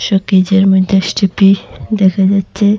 প্যাকেজের মধ্যে স্টেফি দেখা যাচ্ছে।